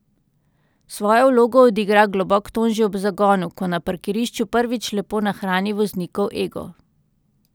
Svojo vlogo odigra globok ton že ob zagonu, ko na parkirišču prvič lepo nahrani voznikov ego.